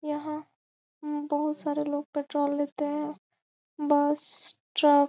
यह बहुत सारे लोग पेट्रोल लेते हैं बस ट्रक --